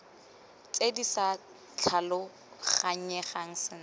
tse di sa tlhaloganyegang sentle